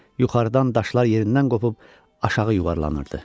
Yuxarıdan daşlar yerindən qopup aşağı yuvarlanırdı.